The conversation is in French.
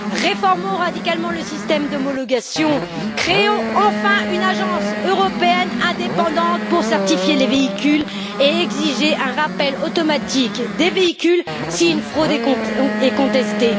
Réformons radicalement le système d'homologation, créons enfin une agence européenne indépendante pour certifier les véhicules et exiger un rappel automatique des véhicules si une fraude est contestée.